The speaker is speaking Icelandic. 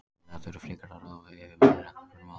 Félagið þurfi frekar að ráða yfirmann knattspyrnumála.